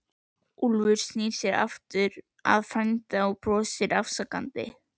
Úlfur snýr sér aftur að frænda og brosir afsakandi.